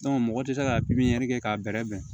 mɔgɔ tɛ se ka pipiniyɛri kɛ k'a bɛrɛbɛn